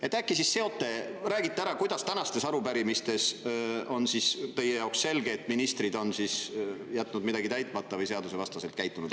Äkki te siis seote, räägite ära, kuidas tänaste arupärimiste puhul on teie jaoks selge, et ministrid on jätnud midagi täitmata või on seadusvastaselt käitunud.